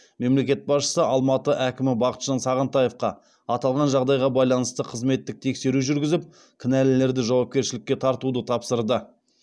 мемлекет басшысы алматы әкімі бақытжан сағынтаевқа аталған жағдайға байланысты қызметтік тексеру жүргізіп кінәлілерді жауапкершілікке тартуды тапсырды